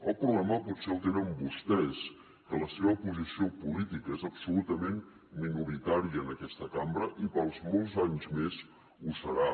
el problema potser el tenen vostès que la seva posició política és absolutament minoritària en aquesta cambra i per molts anys més ho serà